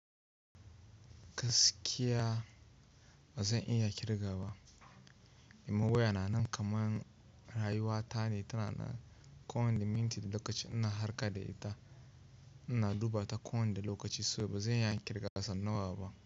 Gaskiya ba zan iya kirga ba. Imam waya na nan kaman rayuwata ne, tana nan ko wani minti da lokaci ina harka da ita. Ina duba ta ko wanda lokaci saboda ba zan iya kirga sau nawa ba.